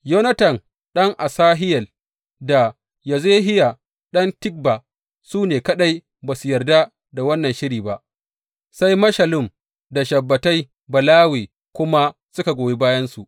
Yonatan ɗan Asahel, da Yazehiya ɗan Tikba su ne kaɗai ba su yarda da wannan shirin ba, sai Meshullam da Shabbetai Balawe kuma suka goyi bayansu.